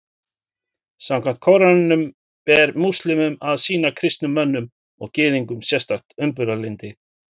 Samkvæmt Kóraninum ber múslímum að sýna kristnum mönnum og Gyðingum sérstakt umburðarlyndi.